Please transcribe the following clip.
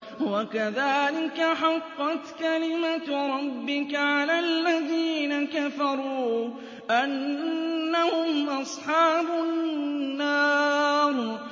وَكَذَٰلِكَ حَقَّتْ كَلِمَتُ رَبِّكَ عَلَى الَّذِينَ كَفَرُوا أَنَّهُمْ أَصْحَابُ النَّارِ